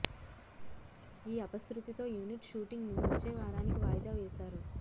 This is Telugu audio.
ఈ అపశృతితో యూనిట్ షూటింగ్ ను వచ్చే వారానికి వాయిదా వేశారు